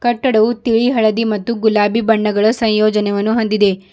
ಕಟ್ಟಡವು ತಿಳಿ ಹಳದಿ ಮತ್ತು ಗುಲಾಬಿ ಬಣ್ಣಗಳ ಸಂಯೋಜನೆಯವನ್ನು ಹೊಂದಿದೆ.